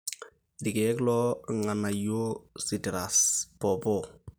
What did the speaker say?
ilkiek loo ilganayio-sitiras ,popoo